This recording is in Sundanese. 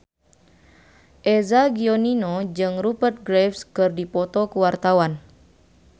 Eza Gionino jeung Rupert Graves keur dipoto ku wartawan